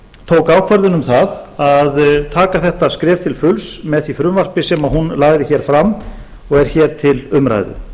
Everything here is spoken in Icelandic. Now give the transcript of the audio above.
tók ákvörðun um það að taka þetta skref til fulls með því frumvarpi sem hún lagði hér fram og er hér til umræðu